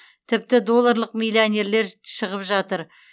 тіпті долларлық миллионерлер шығып жатыр